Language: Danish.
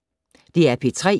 DR P3